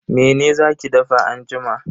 Mene za ki dafa anjima?